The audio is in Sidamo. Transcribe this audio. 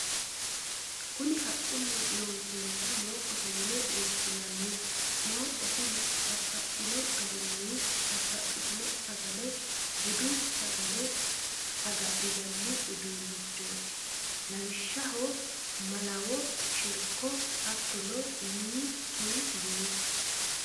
Kunni haqunni loonisonniha mooqqotte yine woshinnanni mooqo tini babaxino garinni babaxitino sagale budu sagale sagalinanni uduunichoti, lawishaho malawo, sheeriko hatono wkl